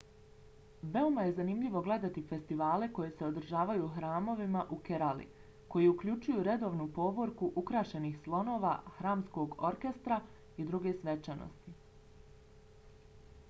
veoma je zanimljivo gledati festivale koji se održavaju u hramovima u kerali koji uključuju redovnu povorku ukrašenih slonova hramskog orkestra i druge svečanosti